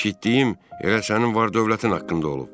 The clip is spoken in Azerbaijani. Eşitdiyim elə sənin var-dövlətin haqqında olub.